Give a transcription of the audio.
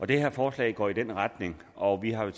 det her forslag går i den retning og vi har